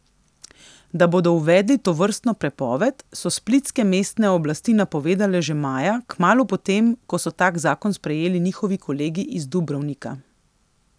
Da bodo uvedli tovrstno prepoved, so splitske mestne oblasti napovedale že maja, kmalu po tem, ko so tak zakon sprejeli njihovi kolegi iz Dubrovnika.